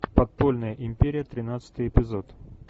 подпольная империя тринадцатый эпизод